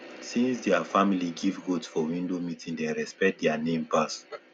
since their family give goat for window meeting dem respect their name pass